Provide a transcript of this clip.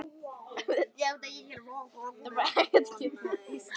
þvert gegnum Ísland.